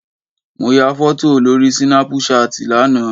Mo ya fọ́tò lórí Sínápú ṣaàtì lánàá.